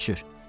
Heç cür.